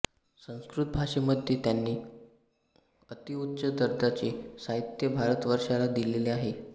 संस्कृत भाषेमध्ये त्यांनी अतिउच्च दर्जाचे साहित्य भारतवर्षाला दिलेले आहे